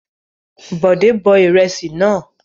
Bòdé bọ ìrẹsì náà.